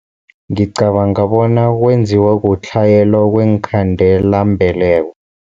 Ngicabanga bona kwenziwa kutlhayela kweenkhandelambeleko.